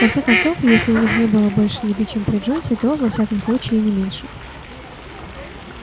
конце концов если у них и не было больше еды чем при джонсе то во всяком случае и не меньше